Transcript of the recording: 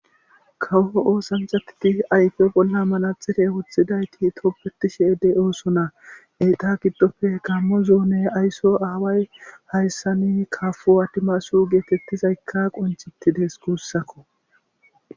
Kawo oosanthatiti ayfe bolla manaxife woththidayti toppeti sheedey oosona eiqa giddofe h kammo zoone aysso aaway hayssani kafo adimasu geetettizaykka qonchitides guussakko.